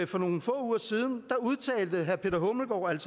for nogle få uger siden udtalte herre peter hummelgaard